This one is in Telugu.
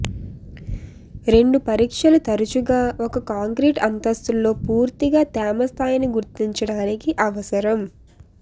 రెండు పరీక్షలు తరచుగా ఒక కాంక్రీట్ అంతస్తులో పూర్తిగా తేమ స్థాయిని గుర్తించడానికి అవసరం